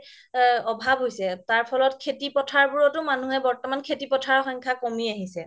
অভাৱ হৈছে তাৰ ফলত খেতি পথাৰবোৰতও মানুহে বৰ্তমান খেতি পথাৰৰ সংখ্যা কমি আহিছে